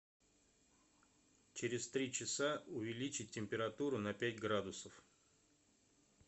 через три часа увеличить температуру на пять градусов